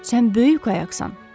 Sən böyük qayaqsan.